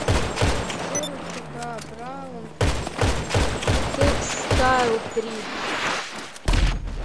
обзор утюга браун текстайл три